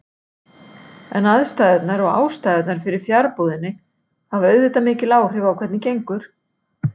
En aðstæðurnar og ástæðurnar fyrir fjarbúðinni hafa auðvitað mikil áhrif á hvernig gengur.